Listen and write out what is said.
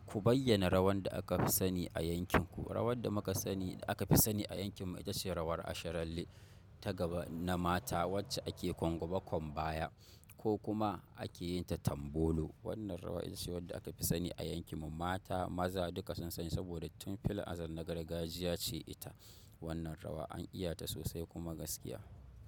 Ku bayyana rawar da aka fi sani a yankin ku. Rawar da muka sani aka fi sani a yankin mu ita ce rawar Asharalle ta gaba na mata wacce ake gwaggwaba kwam baya ko kuma ake yin ta tambolo. Wannan rawa ita ce wadda aka fi sani a yankin mu. Mata maza duka sun sani saboda tun fili azar na gargajiya ce ita. Wannan rawa an iya ta sosai kuma gaskiya.